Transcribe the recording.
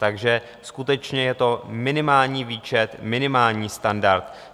Takže skutečně je to minimální výčet, minimální standard.